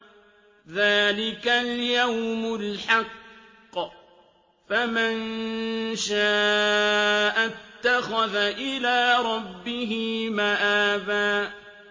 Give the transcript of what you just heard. ذَٰلِكَ الْيَوْمُ الْحَقُّ ۖ فَمَن شَاءَ اتَّخَذَ إِلَىٰ رَبِّهِ مَآبًا